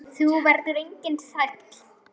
Þú verður enginn þræll.